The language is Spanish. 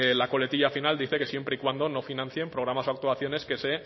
la coletilla final dice que siempre y cuando no financien programas o actuaciones que se